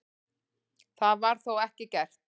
Það var þó ekki gert.